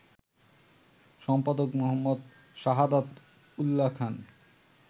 সম্পাদক: মো. সাহাদাত উল্যা খান